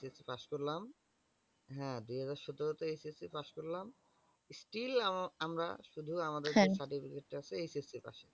ssc পাশ করলাম হ্যা দু হাজার সতেরো তে ssc পাশ করলাম। still আমরা শুধু আমাদের ssc পাশের